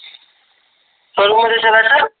Showroom मधे चलायचं sir?